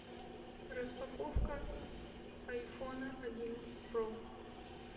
распаковка айфона одиннадцать про